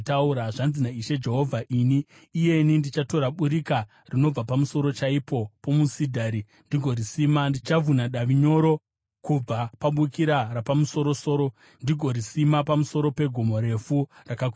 “ ‘Zvanzi naIshe Jehovha: Ini iyeni ndichatora bukira rinobva pamusoro chaipo pomusidhari ndigorisima; ndichavhuna davi nyoro kubva pabukira rapamusoro-soro ndigorisima pamusoro pegomo refu rakakwirira.